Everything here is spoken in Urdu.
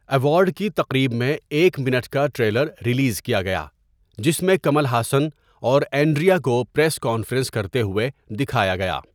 ایوارڈ کی تقریب میں ایک منٹ کا ٹریلر ریلیز کیا گیا، جس میں کمل حسن اور اینڈریا کو پریس کانفرنس کرتے ہوئے دیکھا گیا۔